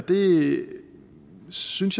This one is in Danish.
det synes